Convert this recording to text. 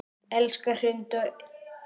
Elsa Hrund og Hilmir.